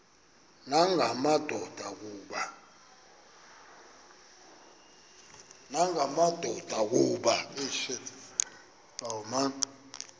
nanga madoda kuba